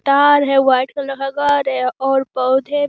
तार है white colour का घर है और पौधे --